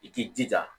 I k'i jija